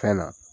Fɛn na